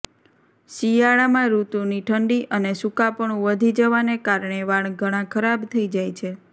શિયાળામાં ઋતુની ઠંડી અને સૂકાપણું વધી જવાને કારણે વાળ ઘણાં ખરાબ થઈ જાય છે